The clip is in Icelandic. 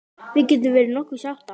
Við getum verið nokkuð sáttar.